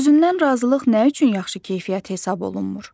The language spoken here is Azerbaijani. Özündən razılıq nə üçün yaxşı keyfiyyət hesab olunmur?